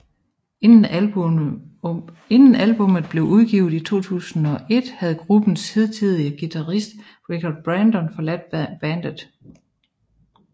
Inden albummet blev udgivet i 2001 havde gruppens hidtidige guitarist Rick Barton forladt bandet